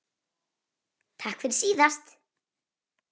Takk fyrir síðast?